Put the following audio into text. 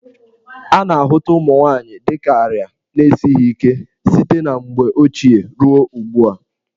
A na-ahụta ụmụ nwaanyị dị ka arịa na-esighi ike site na mgbe ochie ruo ugbu a.